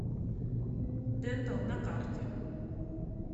дентал на карте